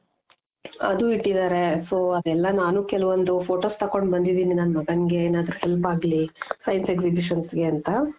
ಅದು ಇಟ್ಟಿದಾರೆ so ಅದೆಲ್ಲ ನಾನು ಕೆಲ್ವೊಂದು photos ತಕ್ಕೊಂಡು ಬಂದಿದಿನಿ ನನ್ ಮಗನ್ಗೆ ಏನಾದ್ರೂ help ಆಗ್ಲಿ science exhibitions ಗೆ ಅಂತ.